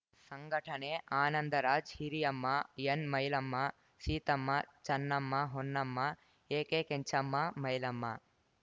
ಸಂಘಟನೆ Anandraj Hiriyamma N Mailamma Seethamma Channamma Honnamma AK Kenchamma Mailamma